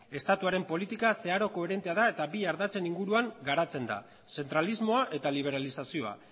estatutuaren politiko zeharo koherentea da eta bi ardatzen inguruan garatzen da zentralismoa eta liberalizazioa